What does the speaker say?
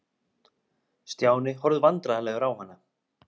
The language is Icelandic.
Stjáni horfði vandræðalegur á hana.